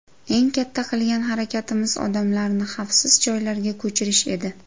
Eng katta qilgan harakatimiz odamlarni xavfsiz joylarga ko‘chirish edi.